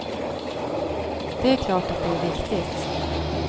Det är klart att det är viktigt.